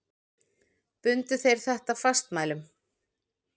Bundu þeir þetta fastmælum.